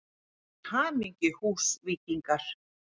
Til hamingju Húsvíkingar!!